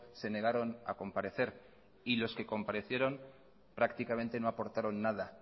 se negaron a comparecer y los que comparecieron prácticamente no aportaron nada